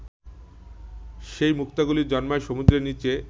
সেই মুক্তাগুলি জন্মায় সমুদ্রের নিচে